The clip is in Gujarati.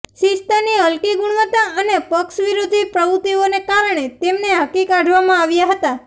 શિસ્તની હલકી ગુણવત્તા અને પક્ષ વિરોધી પ્રવૃત્તિઓને કારણે તેમને હાંકી કાઢવામાં આવ્યા હતા